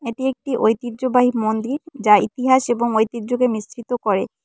এটি একটি ঐতিহ্যবাহী মন্দির যা ইতিহাস এবং ঐতিহ্যকে মিশ্রিত করে।